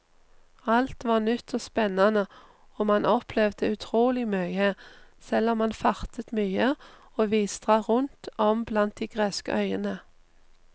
Alt var nytt og spennende og man opplevde utrolig mye, selv om man fartet mye og vidstrakt rundt om blant de greske øyene.